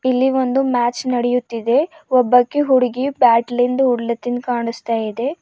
ಇಲ್ಲಿ ಒಂದು ಮ್ಯಾಚ್ ನಡೆಯುತ್ತಿದೆ ಒಬ್ಬಾಕಿ ಹುಡುಗಿ ಬ್ಯಾಟ್ಲಿಂದ್ ಓಡ್ಲಿ ತಿಂದ್ ಕಾಣಿಸ್ತಾ ಇದೆ.